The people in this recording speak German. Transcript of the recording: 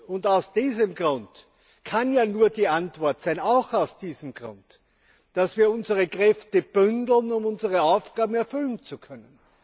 Und aus diesem Grund kann ja nur die Antwort sein auch aus diesem Grund dass wir unsere Kräfte bündeln, um unsere Aufgaben erfüllen zu können.